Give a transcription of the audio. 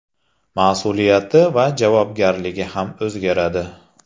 Mas’uliyati va javobgarligi ham o‘zgaradi.